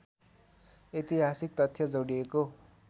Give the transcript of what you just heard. ऐतिहासिक तथ्य जोडिएको